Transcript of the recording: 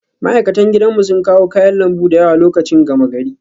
Ma'aikatan gidanmu sun kawo kayan lambu da yawa lokacin gama gari